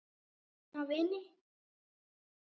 Eina vininn.